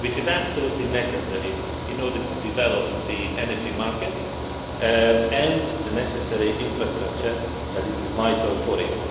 This is absolutely necessary in order to develop the energy markets and the necessary infrastructure that is vital for